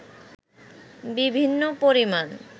বিভিন্ন পরিমাণ